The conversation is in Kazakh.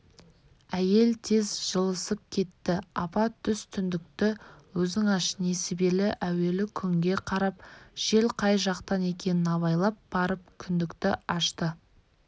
әйел тез жылысып кетті апа түс түндікті өзің аш несібелі әуелі күнге қарап жел қай жақтан екенін абайлап барып түндікті ашты